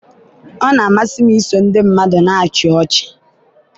ọ na-amasị m iso ndị mmadụ na-achị ọchị.